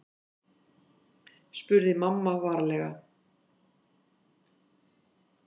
spurði mamma varlega.